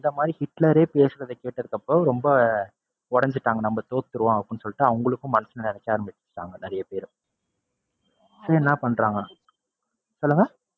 இந்த மாதிரி ஹிட்லரே பேசறதை கேட்டதுக்கு அப்பறம் ரொம்ப உடைஞ்சுட்டாங்க நம்ம தோத்துருவோம் அப்படின்னு சொல்லிட்டு அவங்களுக்கும் மனசுல நினைக்க ஆரம்பிச்சுட்டாங்க நிறைய பேரு. என்ன பண்றாங்க சொல்லுங்க?